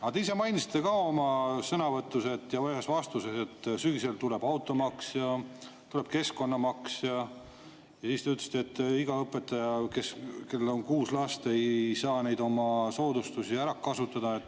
Aga te ise mainisite ka oma sõnavõtus ja ühes vastuses, et sügisel tuleb automaks ja tuleb keskkonnamaks, ja siis te ütlesite, et iga õpetaja, kellel on kuus last, ei saa neid oma soodustusi ära kasutada.